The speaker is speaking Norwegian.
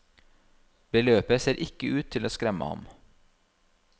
Beløpet ser ikke ut til å skremme ham.